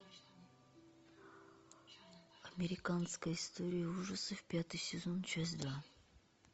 американская история ужасов пятый сезон часть два